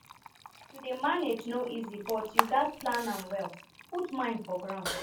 to dey manage no easy but you gat plan am well put mind for ground